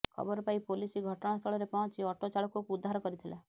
ଖବରପାଇ ପୋଲିସ ଘଟଣାସ୍ଥଳରେ ପହଞ୍ଚି ଅଟୋ ଚାଳକକୁ ଉଦ୍ଧାର କରିଥିଲା